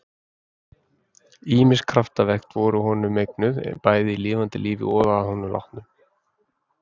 Ýmis kraftaverk voru honum eignuð, bæði í lifanda lífi og að honum látnum.